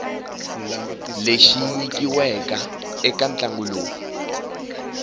lexi nyikiweke eka ntlangu lowu